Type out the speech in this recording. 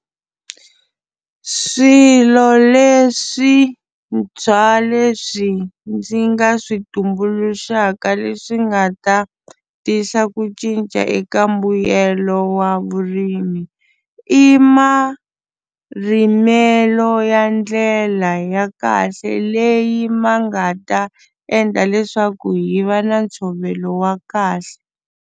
Swilo leswintshwa leswi ndzi nga swi tumbuluxaka leswi nga ta tisa ku cinca eka mbuyelo wa ya vurimi i marimelo ya ndlela ya kahle leyi ma nga ta endla leswaku hi va na ntshovelo wa kahle.